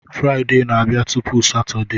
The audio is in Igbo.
Fraịde na-abịa tupu Satọdee